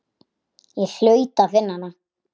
Ég hlaut að finna hana.